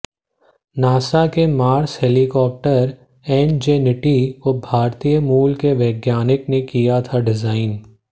NASA के Mars helicopter Ingenuity को भारतीय मूल के वैज्ञानिक ने किया था डिजाइन